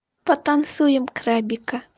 потанцуем крабика